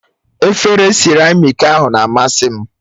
Efere siramiiki ahụ na-amasị m